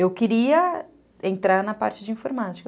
Eu queria entrar na parte de informática.